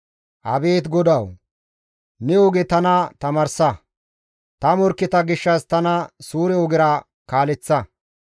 Abeet GODAWU! Ne oge tana tamaarsa; ta morkketa gishshas tana suure ogera kaaleththa.